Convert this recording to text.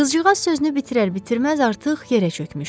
Qızcığaz sözünü bitirər-bitirməz artıq yerə çökmüşdü.